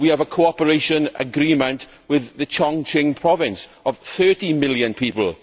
We have a cooperation agreement with Chongqing Province, with 30 million people.